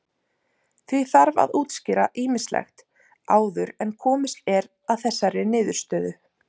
Því þarf að útskýra ýmislegt áður en komist er að þessari niðurstöðu.